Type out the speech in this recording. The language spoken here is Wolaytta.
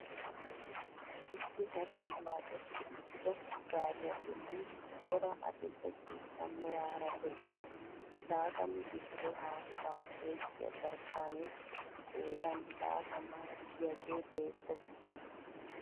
Issi haree waaxetti uttido gaariyaa bolli cora adil'e ciishsha meraara de'iyaa laatamu litiree haattaa oyqqiyaa jarkkanee qoodan laatamaa gidiyaagee beettees.